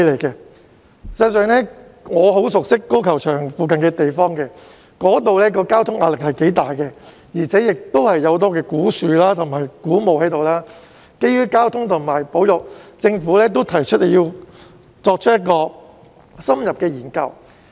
事實上，我很熟悉粉嶺高爾夫球場附近的地方，那裏的交通壓力頗大，亦有很多古樹及古墓，所以基於交通及保育考慮，政府亦提出要作出深入研究。